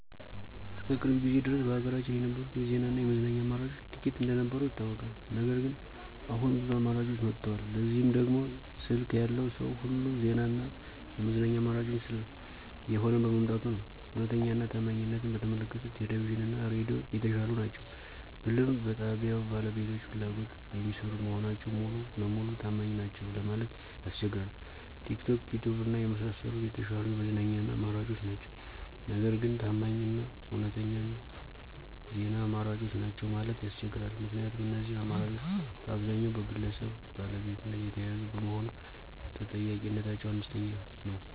እስከ ቅርብ ጊዜ ድረስ በሀገራችን የነበሩት የዜና እና የመዝናኛ አማራጮች ጥቂት እንደነበሩ ይታወቃል። ነገር ግን አሁን ብዙ አማራጮች መጥተዋል። ለዚህም ደግሞ ስልክ ያለው ሰዉ ሁሉ የዜና እና የመዝናኛ አማራጭ እየሆነ በመምጣቱ ነዉ። እዉነተኛ እና ታማኝነትን በተመለከተ ቴሌቪዥን እና ሬዲዮ የተሻሉ ናቸው ብልም በጣብያዉ ባለቤቶች ፍላጎት የሚሰሩ መሆናቸው ሙሉ ለሙሉ ታማኝ ናቸዉ ለማለት ያስቸግራል። ቲክቶክ፣ ዪትዪብ እና የመሳሰሉት የተሻሉ የመዝናኛ አማራጮች ናቸው። ነገር ግን ታማኝ እና እዉነተኛ የዜና አማራጮች ናቸው ማለት ያስቸግራል። ምክንያቱም እነዚህ አማራጮች በአብዛኛዉ በግለሰብ ባለቤትነት የተያዙ በመሆኑ ተጠያቂነታቸው አነስተኛ ነዉ።